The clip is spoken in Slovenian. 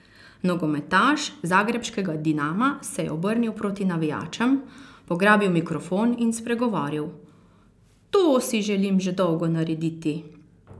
Nogometaš zagrebškega Dinama se je obrnil proti navijačem, pograbil mikrofon in spregovoril: "To si želim že dolgo narediti.